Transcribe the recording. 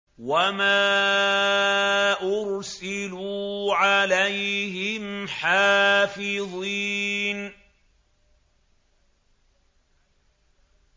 وَمَا أُرْسِلُوا عَلَيْهِمْ حَافِظِينَ